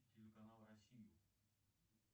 телеканал россию